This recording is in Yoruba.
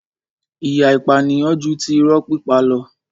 ìyà ìpànìyàn ju ti irọ́ pípa lọ.